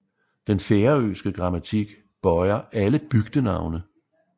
Den færøske grammatik bøjer alle bygdenavne